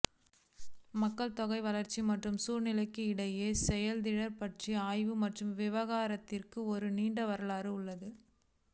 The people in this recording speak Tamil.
மக்கள் தொகை வளர்ச்சி மற்றும் சூழ்நிலைக்கு இடையேயான செயலெதிர் பற்றிய ஆய்வு மற்றும் விவாதத்திற்கு ஒரு நீண்ட வரலாறு உள்ளது